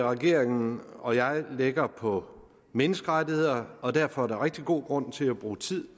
regeringen og jeg lægger på menneskerettigheder og derfor er der rigtig god grund til at bruge tid